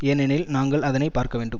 ஏனெனில் நாங்கள் அதனை பார்க்க வேண்டும்